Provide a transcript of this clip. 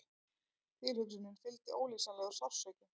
Tilhugsuninni fylgdi ólýsanlegur sársauki.